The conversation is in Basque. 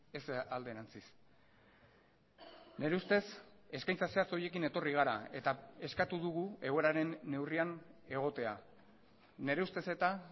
ez alderantziz nire ustez eskaintza zehatz horiekin etorri gara eta eskatu dugu egoeraren neurrian egotea nire ustez eta